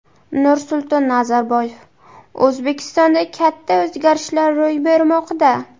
Nursulton Nazarboyev: O‘zbekistonda katta o‘zgarishlar ro‘y bermoqda.